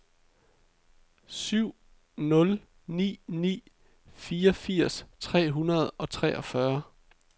syv nul ni ni fireogfirs tre hundrede og treogfyrre